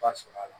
Ba sɔrɔ a la